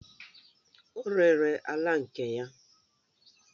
O rere ala nke ya